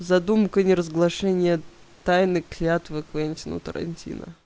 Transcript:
задумка неразглашения тайны клятвы квентина тарантино